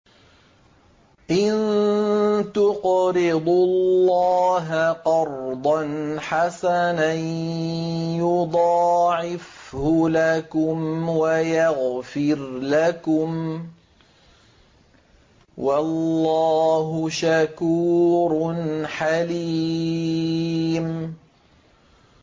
إِن تُقْرِضُوا اللَّهَ قَرْضًا حَسَنًا يُضَاعِفْهُ لَكُمْ وَيَغْفِرْ لَكُمْ ۚ وَاللَّهُ شَكُورٌ حَلِيمٌ